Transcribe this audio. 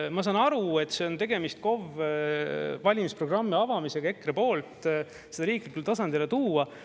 Ma saan aru, et on tegemist KOV valimisprogrammi avamisega EKRE poolt, seda riiklikule tasandile tuua.